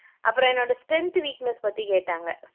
அப்பறம் என்னோட strength, weakness பத்தி கேட்டாங்க